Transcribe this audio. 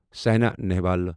Saina Nehwal